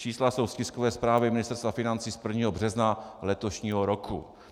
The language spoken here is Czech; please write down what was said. Čísla jsou z tiskové zprávy Ministerstva financí z 1. března letošního roku.